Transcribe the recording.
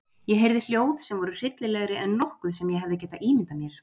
Ég heyrði hljóð sem voru hryllilegri en nokkuð sem ég hefði getað ímyndað mér.